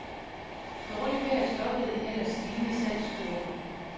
Dårligt vejr stoppede en ellers stigende salgskurve.